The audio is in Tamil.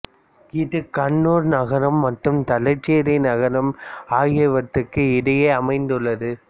இது கண்ணூர் நகரம் மற்றும் தலச்சேரி நகரம் ஆகியவற்றுக்கு இடையே அமைந்துள்ளது